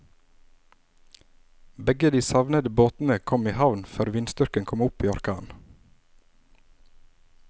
Begge de savnede båtene kom i havn før vindstyrken kom opp i orkan.